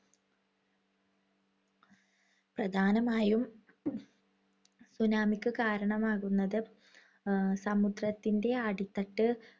പ്രധാനമായും tsunami ക്ക് കാരണമാകുന്നത് സമുദ്രത്തിന്‍റെ അടിത്തട്ട്